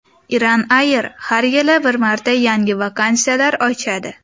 Iran Air har yili bir marta yangi vakansiyalar ochadi.